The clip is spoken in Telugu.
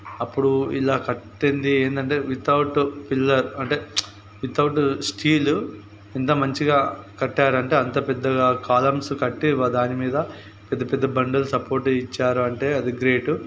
అప్పుడు ఇలా కట్టింది ఎందంటే వితౌట్ పిల్లర్ అంటే వితౌట్ స్టీల్ ఎంత మంచిగా కట్టారంటే అంతా పెద్దగా కాలమ్స్ కట్టి వా దానిమీద పెద్ద పెద్ద బండలు సపోర్ట్ ఇచ్చారు అంటే అది గ్రేట్ --